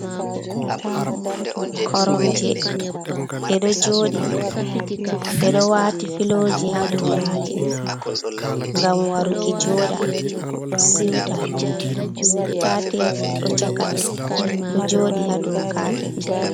Koromje ɗe ɗo joɗi, ɓeɗo wati filoji ha dow maje ngam waruki joɗa siuta, senta tebul ɗo chaka ɗo joɗi ha dou kapet.